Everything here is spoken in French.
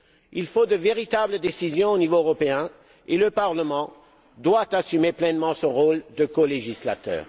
Il faut de véritables décisions au niveau européen et le Parlement doit assumer pleinement son rôle de colégislateur.